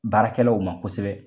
Baarakɛlaw ma kosɛbɛ.